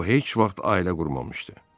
O heç vaxt ailə qurmamışdı.